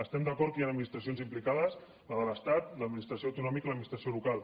estem d’acord que hi han administracions implicades la de l’estat l’administració autonòmica i l’administració local